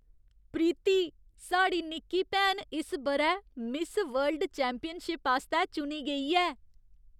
प्रीति! साढ़ी निक्की भैन इस ब'रै मिस वर्ल्ड चैंपियनशिप आस्तै चुनी गेई ऐ!